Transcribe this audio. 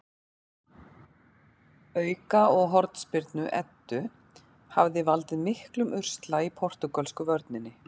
Auka- og hornspyrnu Eddu hafa valdið miklum usla í portúgölsku vörninni.